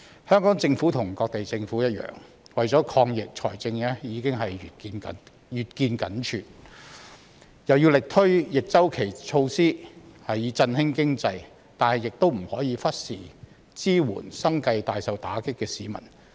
香港政府與各地政府一樣，為了抗疫財政已經越見緊絀，又要力推逆周期措施以振興經濟，但亦不可以忽視支援生計大受打擊的市民。